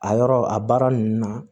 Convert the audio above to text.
A yɔrɔ a baara ninnu na